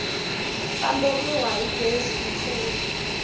famberiwa hi gezi ku tlula